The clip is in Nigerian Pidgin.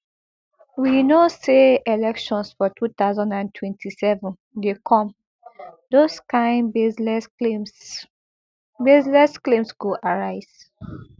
we no say elections for two thousand and twenty-seven dey come those kain baseless claims baseless claims go arise